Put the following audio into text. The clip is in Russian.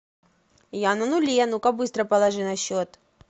я на нуле ну ка быстро положи на счет